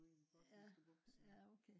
ude i den botniske bugt